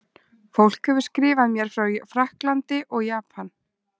Fólk hefur skrifað mér frá Frakklandi og Japan.